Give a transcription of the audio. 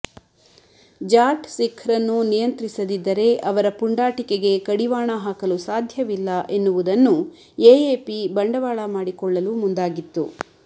ಜಾಟ್ ಸಿಖ್ರನ್ನು ನಿಯಂತ್ರಿಸದಿದ್ದರೆ ಅವರ ಪುಂಡಾಟಿಕೆಗೆ ಕಡಿವಾಣ ಹಾಕಲು ಸಾಧ್ಯವಿಲ್ಲ ಎನ್ನುವುದನ್ನೂ ಎಎಪಿ ಬಂಡವಾಳ ಮಾಡಿಕೊಳ್ಳಲು ಮುಂದಾಗಿತ್ತು